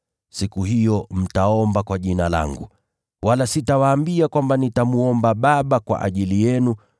Siku hiyo mtaomba kwa Jina langu. Wala sitawaambia kwamba nitamwomba Baba kwa ajili yenu,